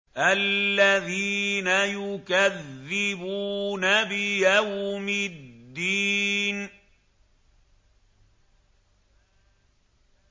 الَّذِينَ يُكَذِّبُونَ بِيَوْمِ الدِّينِ